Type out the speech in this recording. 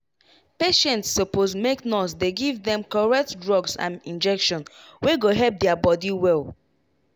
patients suppose make nurse dey give dem correct drugs and injection wey go help their body well.